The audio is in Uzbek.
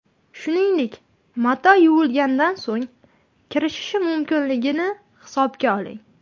Shuningdek, mato yuvilgandan so‘ng kirishishi mumkinligini hisobga oling.